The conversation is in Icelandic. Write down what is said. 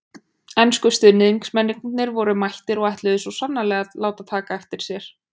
Ensku stuðningsmennirnir voru mættir og ætluðu svo sannarlega að láta taka eftir sér.